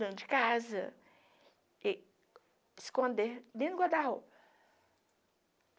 Dona de casa, esconder dentro do guarda-roupa.